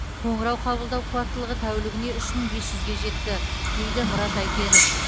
қоңырау қабылдау қуаттылығы тәулігіне үш мың бес жүзге жетті дейді мұрат әйтенов